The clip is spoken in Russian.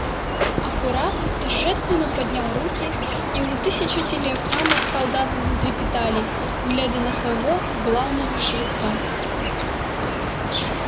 апорат торжественно поднял руки и у тысяч телеэкранов солдаты затрепетали глядя на своего главного жреца